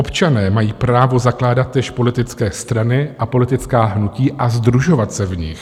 Občané mají právo zakládat též politické strany a politická hnutí a sdružovat se v nich.